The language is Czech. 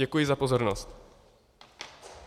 Děkuji za pozornost.